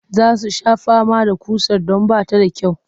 Za su sha fama da ƙusar don ba ta da kyau